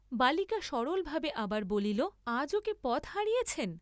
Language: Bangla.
বালিকা সরলভাবে আবার বলিল, আজও কি পথ হারিয়েছেন?